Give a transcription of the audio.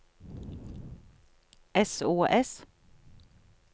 sos